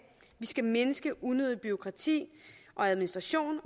vi skal mindske unødigt bureaukrati og administration